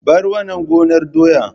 Bar wannan gonar doya!